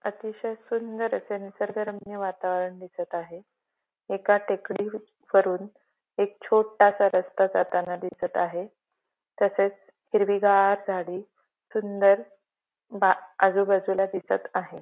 अतिशय सुंदर असे निसर्गरम्य वातावरण दिसत आहे एका टेकडी वरून एक छोटासा रस्ता जाताना दिसत आहे तसेच हिरवीगार झाडी सुंदर बा आजूबाजूला दिसत आहे.